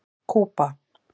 Kúba